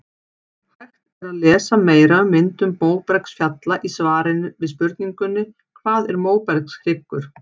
Hægt er að lesa meira um myndun móbergsfjalla í svari við spurningunni Hvað er móbergshryggur?